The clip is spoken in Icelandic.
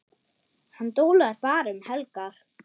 Hann dólar bara um helgar.